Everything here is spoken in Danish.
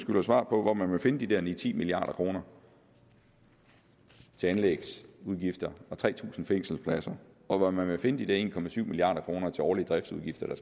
man svar på hvor man vil finde de der ni ti milliard kroner til anlægsudgifter og tre tusind fængselspladser og hvor man vil finde de der en milliard kroner til årlige driftsudgifter der